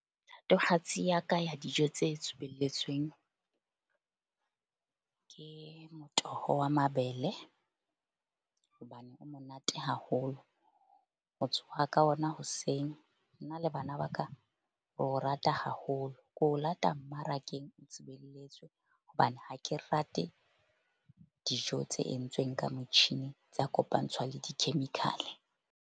Ya ka ya dijo tse ke motoho wa mabele hobane o monate haholo. Ho tsoha ka ona hoseng nna le bana ba ka re o rata haholo. Ke o lata mmarakeng o hobane ha ke rate dijo tse entsweng ka motjhini, tsa kopantshwa le di-chemical-e.